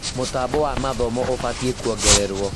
Mũtambo wa mathomo ũbatiĩ kuongererwo